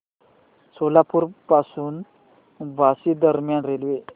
सोलापूर पासून बार्शी दरम्यान रेल्वे